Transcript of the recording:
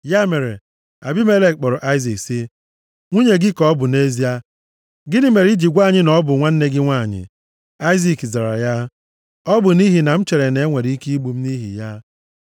Ya mere, Abimelek kpọrọ Aịzik sị, “Nwunye gị ka ọ bụ nʼezie. Gịnị mere i ji gwa anyị na ọ bụ nwanne gị nwanyị?” Aịzik zara ya, “Ọ bụ nʼihi na m chere na-enwere ike igbu m nʼihi ya.”